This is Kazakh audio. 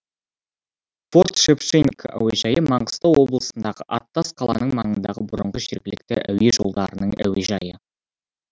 форт шевченко әуежайы маңғыстау облысындағы аттас қаланың маңындағы бұрынғы жергілікті әуе жолдарының әуежайы